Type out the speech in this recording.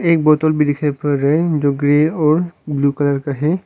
एक बोतल भी दिखाइ पर रहा है जो कि ग्रे और ब्लू कलर का है।